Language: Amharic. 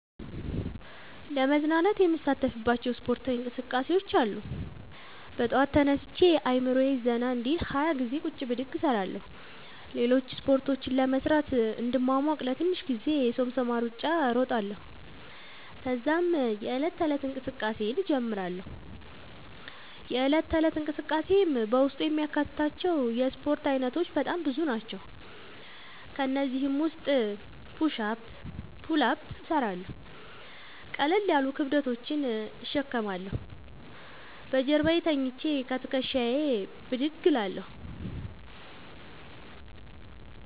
ለመዝናናት የምሣተፍባቸዉ እስፖርታዊ እንቅስቃሤዎች አሉ። በጠዋት ተነስቼ አእምሮየ ዘና እንዲል 20ገዜ ቁጭ ብድግ እሰራለሁ። ሌሎችን እስፖርቶች ለመሥራት እንድሟሟቅ ለትንሽ ጊዜ የሶምሶማ እሩጫ እሮጣለሁ። ተዛም የዕለት ተለት እንቅስቃሴየን እጀምራለሁ። የእለት ተለት እንቅስቃሴየም በውስጡ የሚያካትታቸዉ የእስፖርት አይነቶች በጣም ብዙ ናቸዉ። ከእነዚህም ዉስጥ ፑሽ አፕ ፑል አፕ እሠራለሁ። ቀለል ያሉ ክብደቶችን እሸከማለሁ። በጀርባየ ተኝቸ ከትክሻየ ብድግ እላለሁ።